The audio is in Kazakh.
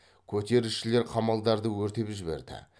көтерілісшілер қамалдарды өртеп жіберді